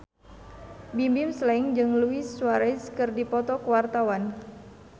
Bimbim Slank jeung Luis Suarez keur dipoto ku wartawan